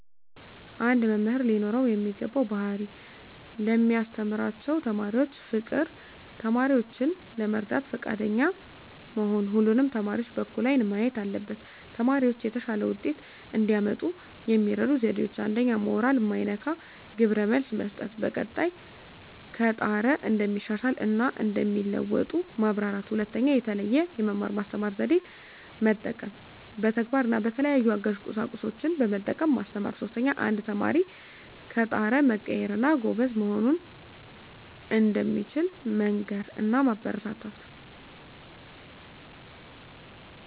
አንድ መምህር ሊኖረው የሚገባው ባህሪ ለሚያስተምራቸው ተማሪዎች ፍቅር፣ ተማሪዎችን ለመርዳት ፈቃደኛ መሆን እና ሁሉንም ተማሪዎች በእኩል አይን ማየት አለበት። ተማሪዎች የተሻለ ውጤት እንዲያመጡ የሚረዱ ዜዴዎች 1ኛ. ሞራል ማይነካ ግብረ መልስ መስጠት፣ በቀጣይ ከጣረ እንደሚሻሻል እና እንደሚለዎጡ ማበራታታት። 2ኛ. የተለየ የመማር ማስተማር ዜዴን መጠቀም፣ በተግባር እና በተለያዩ አጋዥ ቁሳቁሶችን በመጠቀም ማስተማር። 3ኛ. አንድ ተማሪ ከጣረ መቀየር እና ጎበዝ መሆን እንደሚችል መንገር እና ማበረታታት።